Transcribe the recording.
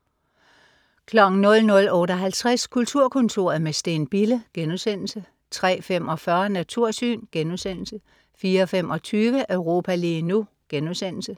00.58 Kulturkontoret med Steen Bille* 03.45 Natursyn* 04.25 Europa lige nu*